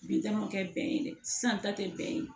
Bi ta ma kɛ bɛn ye dɛ sisan ta te bɛn